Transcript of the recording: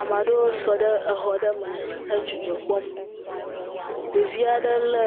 Ame aɖewo sɔ ɖe exɔaɖe me he dzidzɔ kpɔm, ɖevi aɖe lé